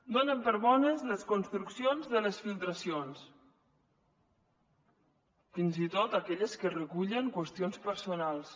donen per bones les construccions de les filtracions fins i tot aquelles que recullen qüestions personals